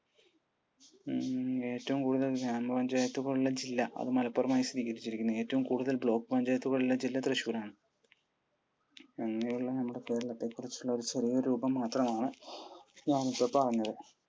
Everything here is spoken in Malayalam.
ഏറ്റവും കൂടുതൽ ഗ്രാമ പഞ്ചായത്തുള്ള ജില്ല? അത് മലപ്പുറമായി സ്ഥിതീകരിച്ചിരിക്കുന്നു. ഏറ്റവും കൂടുതൽ block പഞ്ചായത്തുകൾ ഉള്ള ജില്ല തൃശൂർ ആണ്. ഇങ്ങനെയുള്ള നമ്മുടെ കേരളത്തെക്കുറിച്ചുള്ള ചെറിയൊരു രൂപം മാത്രമാണ് നാമിപ്പോൾ പറഞ്ഞത്.